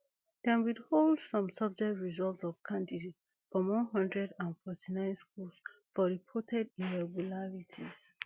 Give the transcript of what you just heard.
dem withhold some subject result of candidate from one hundred and forty-nine schools for reported irregularities